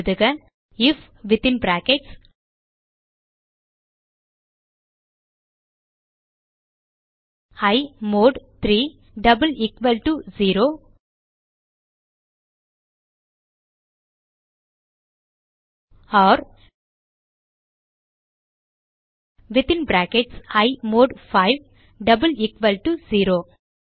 எழுதுக I F within brackets e mod 3 double equal to 0 or within brackets e mod 5 double equal to 0